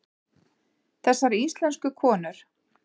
Þessar íslensku konur!